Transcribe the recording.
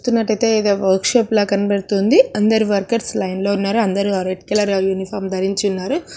చూస్తున్నట్టయితే ఇది ఒక వర్క్ షాప్ లాగా కనబడుతుంది. అందరూ వర్కర్స్ లైన్ లో ఉన్నారు. అందరూ రెడ్ కలర్ యూనిఫామ్ ధరించి ఉన్నారు.